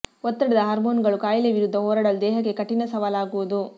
ಒತ್ತಡದ ಹಾರ್ಮೋನ್ ಗಳು ಕಾಯಿಲೆ ವಿರುದ್ಧ ಹೋರಾಡಲು ದೇಹಕ್ಕೆ ಕಠಿಣ ಸವಾಲಾಗುವುದು